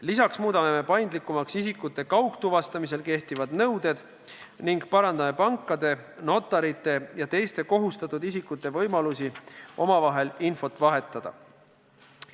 Lisaks muudame paindlikumaks isikute kaugtuvastamisel kehtivad nõuded ning parandame pankade, notarite ja teiste kohustatud isikute võimalusi omavahel infot vahetada.